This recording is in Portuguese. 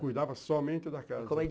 Cuidava somente da casa.